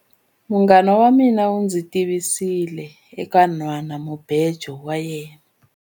Munghana wa mina u ndzi tivisile eka nhwanamubejo wa yena.